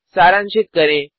सारांशित करें